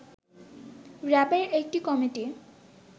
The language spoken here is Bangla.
র‍্যাবের একটি কমিটি